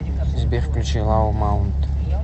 сбер включи лау маунт